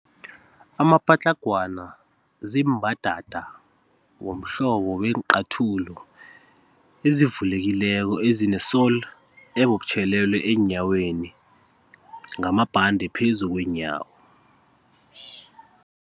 Amapatlagwana ziimbadada womhlobo weenqathulo ezivulekileko ezine-sole ebubutjhelelwe eenyaweni ngamabhande phezu kweenyawo.